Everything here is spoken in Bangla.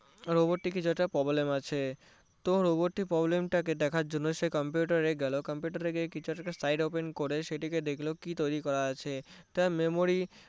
তার Robot কিছু একটা problem আছে তো Robot টির problem দেখার জন্য সে computer এ গেলো computer এ গিয়ে কিছু একটা file open করে সেটিকে দেখলো কি তৈরি করা আছে তার memory